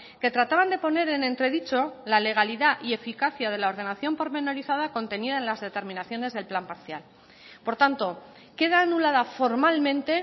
que trataban de poner en entredicho la legalidad y eficacia de la ordenación pormenorizada contenida en las determinaciones del plan parcial por tanto queda anulada formalmente